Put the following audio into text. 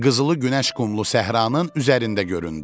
Qızılı günəş qumlu səhranın üzərində göründü.